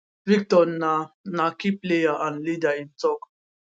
victor na na key player and leader im tok